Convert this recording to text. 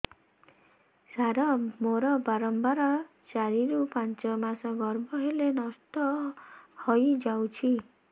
ସାର ମୋର ବାରମ୍ବାର ଚାରି ରୁ ପାଞ୍ଚ ମାସ ଗର୍ଭ ହେଲେ ନଷ୍ଟ ହଇଯାଉଛି